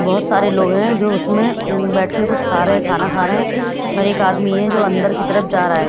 बहुत सारे लोग हैं जो उसमें उं बैठ के कुछ खा रहे हैं खाना खा रहे हैं और एक आदमी है जो अंदर की तरफ जा रहा है।